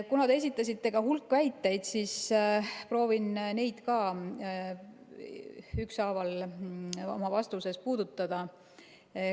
Kuna te esitasite hulga väiteid, siis proovin neid ükshaaval oma vastuses puudutada.